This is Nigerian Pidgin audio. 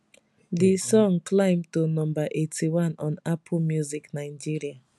di song climb to no 81 on apple music nigeria